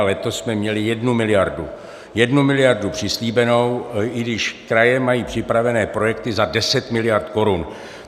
A letos jsme měli jednu miliardu - jednu miliardu - přislíbenou, i když kraje mají připravené projekty za 10 miliard korun.